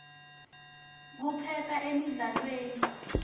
kuphepha emidlalweni